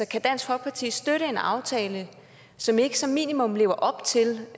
kan dansk folkeparti støtte en aftale som ikke som minimum lever op til